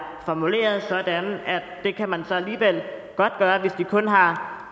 formuleret sådan at det kan man så alligevel godt gøre hvis de kun har